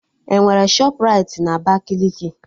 Enwere Shọpraịti na Abakaliki?